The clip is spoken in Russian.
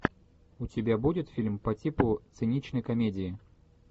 у тебя будет фильм по типу циничной комедии